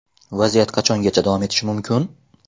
Vaziyat qachongacha davom etishi mumkin?